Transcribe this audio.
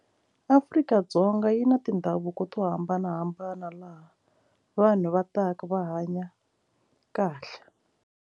Afrika-Dzonga yi na tindhavuko to hambanahambana laha vanhu va taka va hanya kahle.